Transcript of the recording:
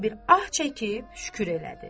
Yenə bir ah çəkib şükür elədi.